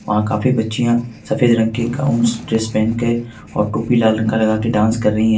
वहां काफी बच्चियां सफेद रंग की गाउंस ड्रेस पहन के और टोपी लाल रंग का लगा के डांस कर रही हैं।